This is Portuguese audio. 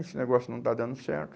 Esse negócio não está dando certo.